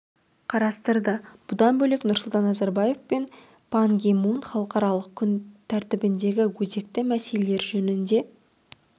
қарастырды бұдан бөлек нұрсұлтан назарбаев пен пан ги мун халықаралық күн тәртібіндегі өзекті мәселелер жөнінде